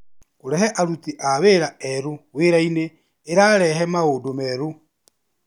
Kũrehe aruti a wĩra erũ wĩrainĩ ĩrarehe maũndũ merũ.